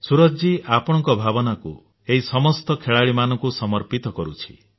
ସୂରଜ ଜୀ ଆପଣଙ୍କ ଭାବନାକୁ ଏହି ସମସ୍ତ ଖେଳାଳିମାନଙ୍କୁ ସମର୍ପିତ କରୁଛି